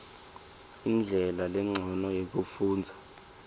indlela lencono yekufundza